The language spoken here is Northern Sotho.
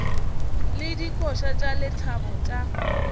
le dikoša tša lethabo tša